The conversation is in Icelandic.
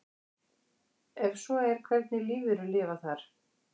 Ef svo er hvernig lífverur lifa þar?